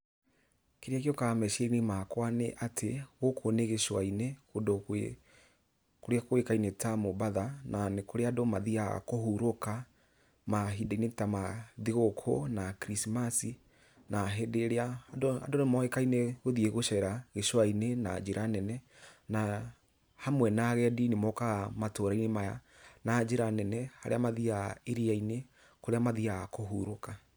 Kĩrĩa gĩũkaga meciria-inĩ makwa nĩ atĩ, gũkũ nĩ gĩcũa-inĩ, kũndũ kũrĩa kũĩkaine ta Mombatha, na kũrĩa andũ mathiga kũhuruka, mahinda-inĩ ta ma thigũkũ na Krismasi, na hĩndĩ ĩrĩa andũ nĩmoĩkaine gũthiĩ gũcera gĩcũa-inĩ na njĩra nene, na hamwe na agendi nĩmokaga matũra-inĩ maya na njĩra nene, harĩa mathiaga iria-inĩ, kũrĩa mathiaga kũhurũka.